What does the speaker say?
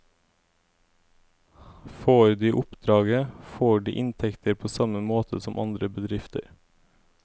Får de oppdraget, får de inntekter på samme måte som andre bedrifter.